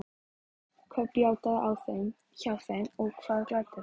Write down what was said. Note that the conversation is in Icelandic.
Hvað bjátaði á hjá þeim og hvað gladdi þær?